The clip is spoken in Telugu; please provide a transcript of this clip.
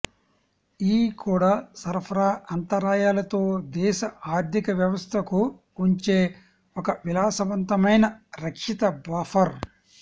ఈ కూడా సరఫరా అంతరాయాలతో దేశ ఆర్థిక వ్యవస్థకు ఉంచే ఒక విలాసవంతమైన రక్షిత బఫర్